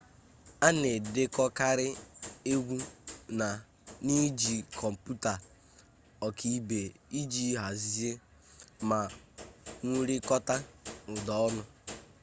a na-edekọkarị egwu n'iji kọmputa ọkaibe iji hazie ma wụrikọta ụda ọnụ